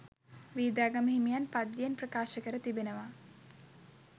වීදාගම හිමියන් පද්‍යයෙන් ප්‍රකාශ කර තිබෙනවා.